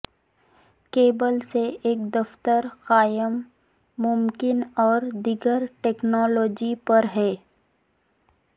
cable سے ایک دفاتر قائم ممکن اور دیگر ٹیکنالوجی پر ہے